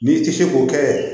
N'i ti se k'o kɛ